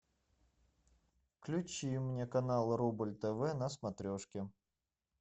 включи мне канал рубль тв на смотрешке